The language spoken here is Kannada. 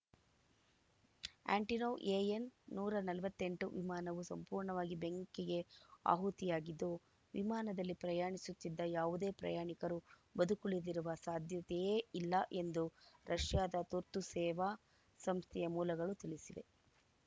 ಆ್ಯಂಟೊನೋವ್‌ ಎಎನ್‌ ನೂರ ನಲವತ್ತ್ ಎಂಟು ವಿಮಾನವು ಸಂಪೂರ್ಣವಾಗಿ ಬೆಂಕಿಗೆ ಆಹುತಿಯಾಗಿದ್ದು ವಿಮಾನದಲ್ಲಿ ಪ್ರಯಾಣಿಸುತ್ತಿದ್ದ ಯಾವುದೇ ಪ್ರಯಾಣಿಕರು ಬದುಕುಳಿದಿರುವ ಸಾಧ್ಯತೆಯೇ ಇಲ್ಲ ಎಂದು ರಷ್ಯಾದ ತುರ್ತು ಸೇವಾ ಸಂಸ್ಥೆಯ ಮೂಲಗಳು ತಿಳಿಸಿವೆ